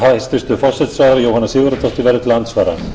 hæstvirtur forsætisráðherra jóhanna sigurðardóttir verður til andsvara